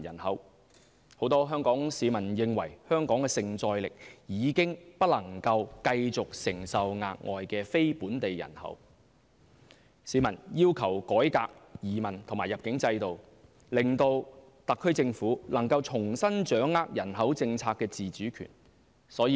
很多香港市民認為香港的承載力已不能繼續承受額外非本地人口，市民要求改革移民及入境制度，令特區政府能重新掌握人口政策的自主權。